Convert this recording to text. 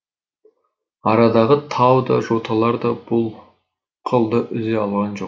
арадағы тау да жоталар да бұл қылды үзе алған жоқ